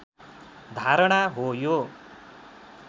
धारणा हो यो